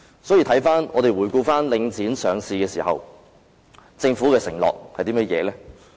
所以，回顧領匯上市時，政府的承諾為何？